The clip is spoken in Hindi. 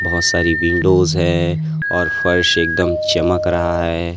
बहुत सारी विंडोज है और फर्श एकदम चमक रहा है।